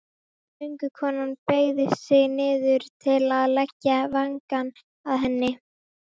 Göngukonan beygði sig niður til að leggja vangann að henni.